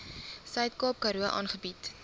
suidkaap karoo aangebied